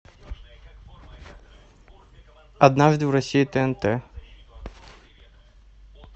однажды в россии тнт